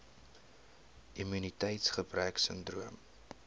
immuniteits gebrek sindroom